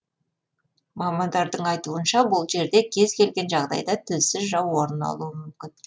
мамандардың айтуынша ол жерде кез келген жағдайда тілсіз жау орын алуы мүмкін